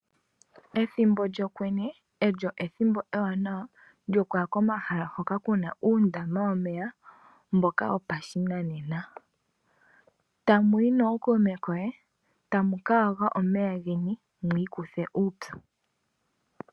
Ethimbo lyokwenye ,olyo ethimbo ewanawa lyokuya komahala hoka kuna uundama womeya mboka wo pashinanena. Tamu yi nookuume koye tamu ka yoga omeya geni mwi ikuthe uupyu.